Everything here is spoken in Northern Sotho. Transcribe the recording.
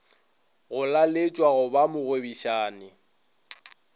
go laletšwa go ba mogwebišani